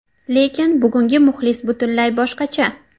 Lekin bugungi muxlis butunlay boshqacha.